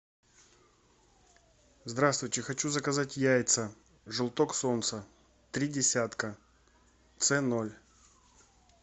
здравствуйте хочу заказать яйца желток солнца три десятка це ноль